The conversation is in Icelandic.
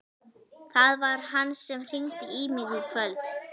Það var hann sem hringdi í mig í kvöld.